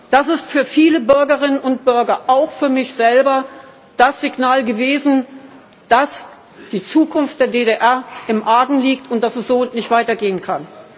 Das ist für viele Bürgerinnen und Bürger auch für mich selber das Signal gewesen, dass die Zukunft der DDR im Argen liegt und dass es so nicht weitergehen kann.